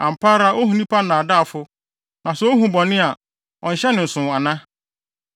Ampa ara ohu nnipa nnaadaafo; na sɛ ohu bɔne a, ɔnhyɛ ne nsow ana?